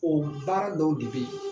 O baara dɔw de bɛ yen